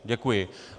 Děkuji.